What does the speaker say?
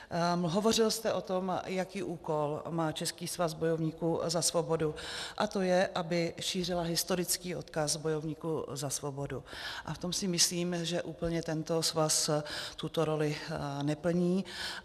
Hovořil jste o tom, jaký úkol má Český svaz bojovníků za svobodu, a to je, aby šířil historický odkaz bojovníků za svobodu, a v tom si myslím, že úplně tento svaz tuto roli neplní.